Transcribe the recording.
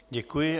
Děkuji.